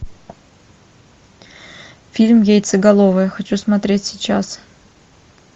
фильм яйцеголовые хочу смотреть сейчас